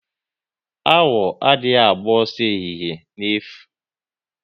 Awọ adị agba ọsọ ehihie n'efu